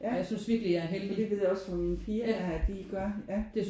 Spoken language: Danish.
Ja hvilket jeg også ved fra mine piger der at de gør ja